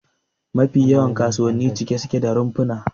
Mafi yawan kasuwanni cike suke da rumfuna